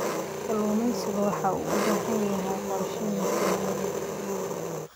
Kalluumaysigu waxa uu u baahan yahay qorshe miisaaniyadeed.